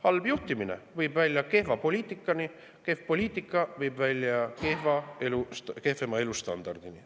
Halb juhtimine viib kehva poliitikani, kehv poliitika viib kehvema elustandardini.